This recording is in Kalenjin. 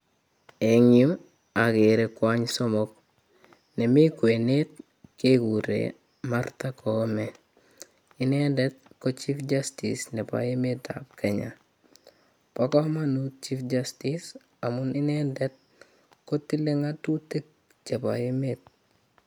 Eng yu agere kwonyik somok. Nemi kwenet keguren Martha Koome, inendet ko Chief Justice nobo emetab kenya. Bo kamanut Chief Justice amun inendet kotile ngatutik chebo emet.